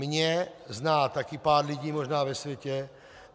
Mě zná taky pár lidí možná ve světě.